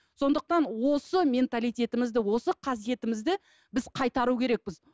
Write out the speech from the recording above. сондықтан осы менталитетімізді осы қасиетімізді біз қайтару керекпіз